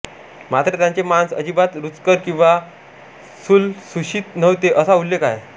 मात्र त्यांचे मांस अजिबात रुचकर किंवा लुसलुशीत नव्हते असा उल्लेख आहे